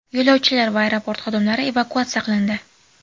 Yo‘lovchilar va aeroport xodimlari evakuatsiya qilindi.